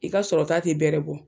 I ka sɔrɔ ta ti bɛrɛ bɔ.